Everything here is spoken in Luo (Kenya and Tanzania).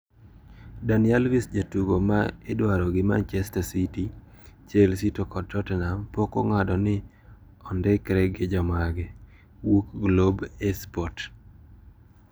Dani Alves jatugo ma idwaro gi Manchester City, Chelsea to kod Tottenham pok ong`ado ni ondikre gi jomage (Wuok Globo Esporte).